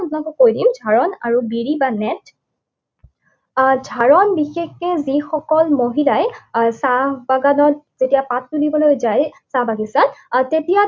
মই আপোনালোকক কৈ দিম। ঝাৰণ আৰু বিৰি মানে আহ ঝাৰণ বিশেষকে যিসকল মহিলাই আহ চাহ বাগানত যেতিয়া পাত তুলিবলৈ যায়, চাহ বাগিচাত, আহ তেতিয়া